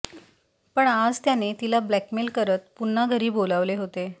पण आज त्याने तिला ब्लॆकमेल करत पुन्हा घरी बोलावले होते